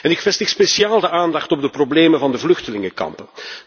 Ik vestig speciaal de aandacht op de problemen van de vluchtelingenkampen.